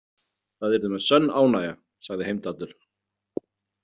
Það yrði mér sönn ánægja, sagði Heimdallur.